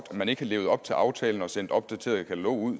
man ikke har levet op til aftalen og sendt det opdaterede katalog ud